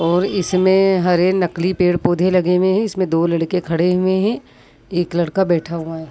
और इसमें हरे नकली पेड़-पौधे लगे हुए हैं इसमें दो लड़के खड़े हुए हैं एक लड़का बैठा हुआ है।